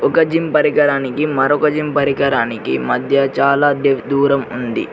ఒక జిమ్ పరికరానికి మరొక జిమ్ పరికరానికి మధ్య చాలా దూరం ఉంది.